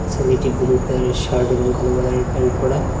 ছেলেটি blue colour এর shirt এবং কালো কালার এর প্যান্ট পরা।